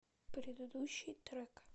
предыдущий трек